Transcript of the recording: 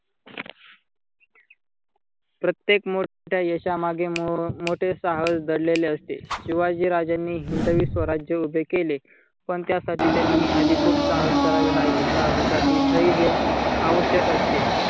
प्रत्येक मोठ्या यशामागे मोठे साहस दडलेले असते. शिवाजी राजांनी हिंदवी स्वराज्य उभे केले. पण त्यासाठी त्यांनी आधी खूप साहस करावे लागले. साहसासाठी धैर्य आवश्यक असते.